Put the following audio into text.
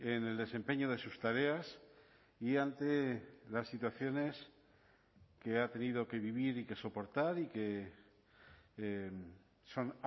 en el desempeño de sus tareas y ante las situaciones que ha tenido que vivir y que soportar y que son